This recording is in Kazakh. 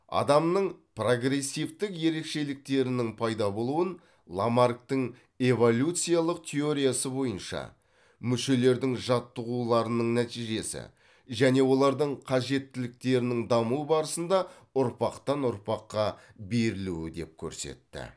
адамның прогрессивтік ерекшеліктерінің пайда болуын ламарктың эволюциялық теориясы бойынша мүшелердің жаттығуларының нәтижесі және олардың қажеттеліктерінің даму барысында ұрпақтан ұрпаққа берілуі деп көрсетті